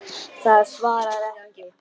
Það svarar ekki.